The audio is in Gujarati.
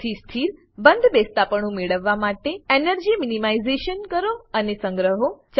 સૌથી સ્થિર બંધબેસતાપણું મેળવવા માટે એનર્જી મીનીમાઈઝેશન કરો અને સંગ્રહો